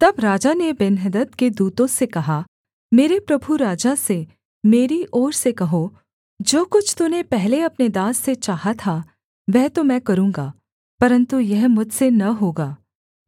तब राजा ने बेन्हदद के दूतों से कहा मेरे प्रभु राजा से मेरी ओर से कहो जो कुछ तूने पहले अपने दास से चाहा था वह तो मैं करूँगा परन्तु यह मुझसे न होगा